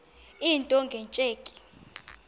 into nge tsheki